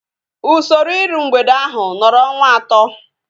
Usoro iru mgbede ahu nọrọ ọnwa atọ